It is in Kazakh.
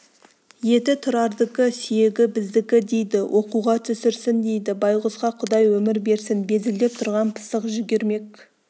еті тұрардікі сүйегі біздікі дейді оқуға түсірсін дейді байғұсқа құдай өмір берсін безілдеп тұрған пысық жүгермек